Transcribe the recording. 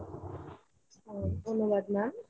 ধন্যবাদ ma'am।